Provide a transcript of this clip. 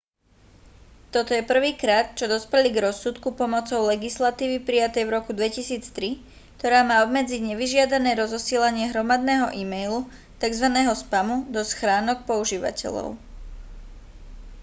toto je prvýkrát čo dospeli k rozsudku pomocou legislatívy prijatej v roku 2003 ktorá má obmedziť nevyžiadané rozosielanie hromadného e-mailu tzv spamu do schránok používateľov